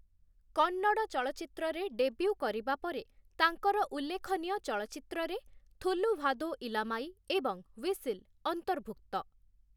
କନ୍ନଡ଼ ଚଳଚ୍ଚିତ୍ରରେ ଡେବ୍ୟୁ କରିବା ପରେ, ତାଙ୍କର ଉଲ୍ଲେଖନୀୟ ଚଳଚ୍ଚିତ୍ରରେ 'ଥୁଲୁଭାଧୋ ଇଲାମାଇ' ଏବଂ 'ହ୍ୱିସିଲ୍' ଅନ୍ତର୍ଭୁକ୍ତ ।